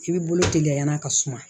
I bɛ bolo teliya a ka suma